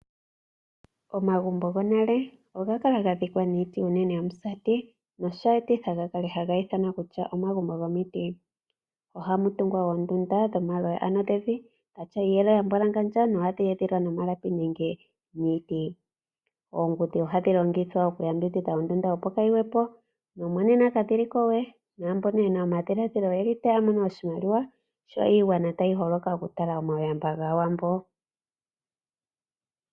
Omagumbo gonale oga kala ga dhikwa niiti iinene yomusati nosha etitha ga kale haga ithanwa kutya omagumbo gomiti. Ohamu tungwa oondunda dho maloya ano dhevi pwa mbwalangandja no hatu edhilepo no malapi nenge oongudhi ohadhi longithwa oku yambidhidha ondunda opo kayi gwepo. No monena ka dhili ko we, naambono yena omadhilaadhilo oyeli taya mono oshimaliwa sho iigwana tayi holoka oku tala omauyamba gaawambo.